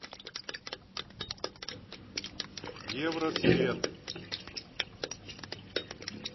евросвет